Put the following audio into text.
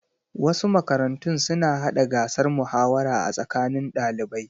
Wasu makarantun suna hada gasar muhawara a tsakanin ɗalibai.